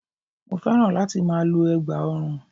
Mo féràn láti ma lo ẹ̀gbà orun